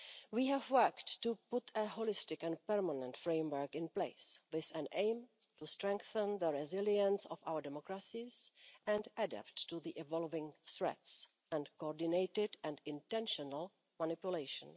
We have worked to put a holistic and permanent framework in place, with an aim to strengthen the resilience of our democracies and adapt to the evolving threats and coordinated and intentional manipulation.